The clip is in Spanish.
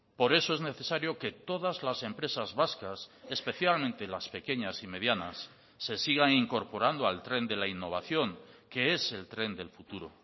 por eso es necesario que todas las empresas vascas especialmente las pequeñas y medianas se sigan incorporando al tren de la innovación que es el tren del futuro